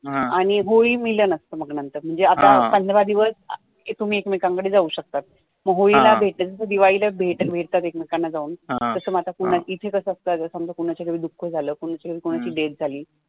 आणी मग होळी मिलन तं नंतर मग आता पंधरा दिवस तुम्ही एकमेकां कडे जाऊ शकतात मग होळी ला भेटल्या नंतर दिवाळी ला भेटतात एकमेकां कडे जाऊन इथे कसं असतं जसं कोणाच्या घरी दुख झालं कोणाची तरी death झाली